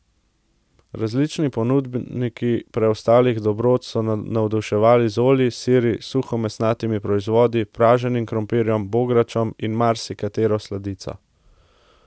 Različni ponudniki preostalih dobrot so navduševali z olji, siri, suhomesnatimi proizvodi, praženim krompirjem, bogračem in marsikatero sladico.